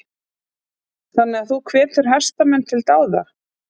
Þannig að þú hvetur hestamenn til dáða?